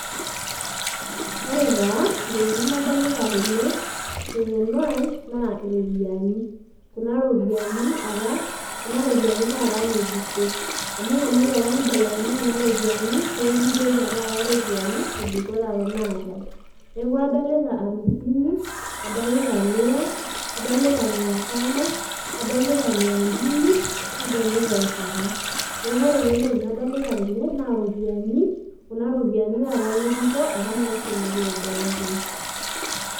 Ore taa ntokitin nadolita tene teng'eno ai na iropiyani. Kuna ropiani apa, kuna ropiani tata ng'ejuko amu eshomoki apa neibelekenyi kuna ropiani neaku inji eyia tata ropiani ng'ejuko taata naatai. Neaku adolita amisini, adolita mia, adolita mia tano, adolita  mia mbili nadolita encheta. Neaku koree taa entoki nadolita tene naa ropiani kuna ropiani tata ng'ejuko apa nashomoki aibelekeny.